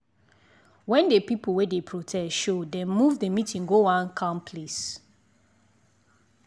when the people wey dey protest showdem move the meeting go one calm place.